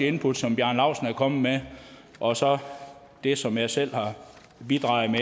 input som bjarne laustsen er kommet med og så det som jeg selv har bidraget